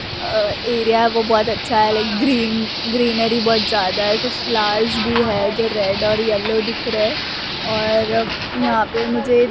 अ area वो बहोत अच्छा है लाइक ग्रीन ग्रीनरी बहोत ज्यादा है कुछ फ्लावर्स भी है जो रेड और येलो दिख रहे है और यहां पे मुझे--